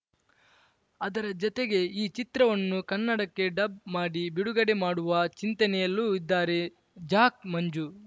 ಅದರ ಜತೆಗೆ ಈ ಚಿತ್ರವನ್ನು ಕನ್ನಡಕ್ಕೆ ಡಬ್‌ ಮಾಡಿ ಬಿಡುಗಡೆ ಮಾಡುವ ಚಿಂತನೆಯಲ್ಲೂ ಇದ್ದಾರೆ ಜಾಕ್‌ ಮಂಜು